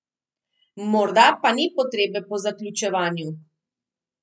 Morda pa ni potrebe po zaključevanju?